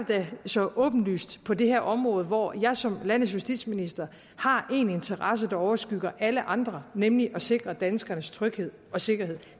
da så åbenlyst på det her område hvor jeg som landets justitsminister har én interesse der overskygger alle andre nemlig at sikre danskernes tryghed og sikkerhed